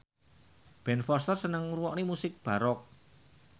Ben Foster seneng ngrungokne musik baroque